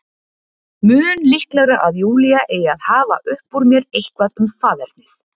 Mun líklegra að Júlía eigi að hafa upp úr mér eitthvað um faðernið.